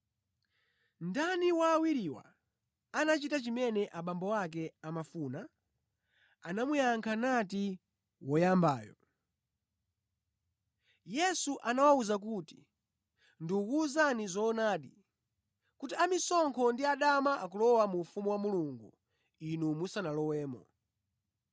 “Ndani wa awiriwa anachita chimene abambo ake amafuna?” Anamuyankha nati, “Woyambayo.” Yesu anawawuza kuti, “Ndikuwuzani zoonadi, kuti amisonkho ndi adama akulowa mu ufumu wa Mulungu inu musanalowemo.”